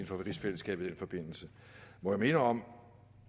for rigsfællesskabet i den forbindelse må jeg minde om